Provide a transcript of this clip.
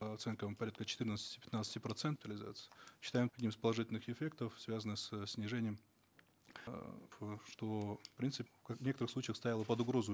по оценкам порядка четырнадцати пятнадцати процентов считаем из положительных эффектов связанных со снижением э что принцип как в некоторых случаях ставило под угрозу